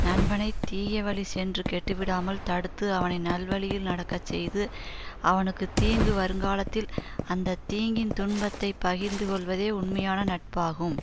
நண்பனை தீயவழி சென்று கெட்டுவிடாமல் தடுத்து அவனை நல்வழியில் நடக்க செய்து அவனுக்கு தீங்கு வருங்காலத்தில் அந்த தீங்கின் துன்பத்தை பகிர்ந்து கொள்வதே உண்மையான நட்பாகும்